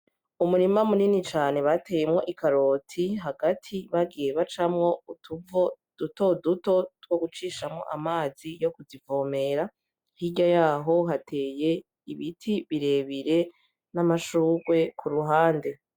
Umurima munini cane bateyemwo ikaroti hagati bagiye bacamwo utuvo dutoduto twogucishamwo amazi yokuzivomera; hirya yaho hateye ibiti birebire n'amashugwe kuruhande.